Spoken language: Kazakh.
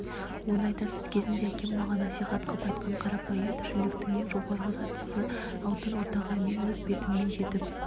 оны айтасыз кезінде әкем маған насихат қып айтқан қарапайым тіршіліктің ең жоғарғы сатысы алтын ортаға мен өз бетіммен жетіп